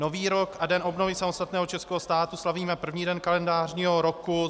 Nový rok a Den obnovy samostatného českého státu slavíme první den kalendářního roku.